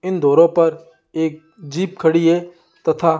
इन दोरो पर एक जीप खड़ी है तथा--